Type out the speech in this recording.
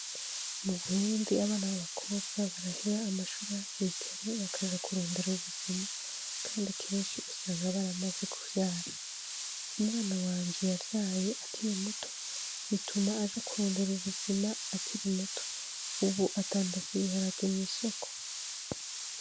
Mu burundi abana ba bakobwa baraheba amashuri hakikare bakaja kurondera ubuzima, kandi kenshi usanga baramaze kuvyara umwana wanje yavyaye akiri muto bituma aja kurondera ubuzima akiri muto, ubu adanda si ibiharage mw'isoko.